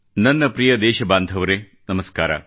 ನನ್ನ ಪ್ರಿಯ ದೇಶ ಬಾಂಧವರೇ ನಮಸ್ಕಾರ